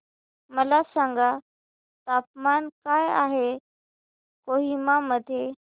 मला सांगा तापमान काय आहे कोहिमा मध्ये